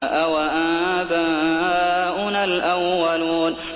أَوَآبَاؤُنَا الْأَوَّلُونَ